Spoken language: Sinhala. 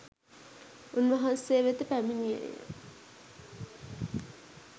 උන්වහන්සේ වෙත පැමිණියේය.